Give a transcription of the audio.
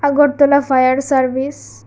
Agartala fire service.